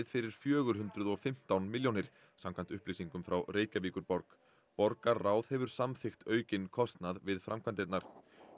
fyrir fjögur hundruð og fimmtán milljónir samkvæmt upplýsingum frá Reykjavíkurborg borgarráð hefur samþykkt aukinn kostnað við framkvæmdirnar